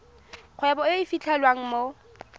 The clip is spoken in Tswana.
kgwebo e e fitlhelwang mo